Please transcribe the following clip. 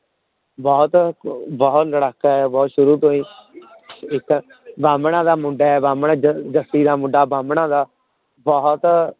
ਬਹੁਤ ਬਹੁਤ ਲੜਾਕਾ ਹੈ ਬਹੁਤ ਸ਼ੁਰੂ ਤੋਂ ਹੀ ਇੱਕ ਬਾਹਮਣਾਂ ਦਾ ਮੁੰਡਾ ਹੈ ਬਾਹਮਣਾਂ ਜ ਜੱਸੀ ਦਾ ਮੁੰਡਾ ਬਾਹਮਣਾਂ ਦਾ ਬਹੁਤ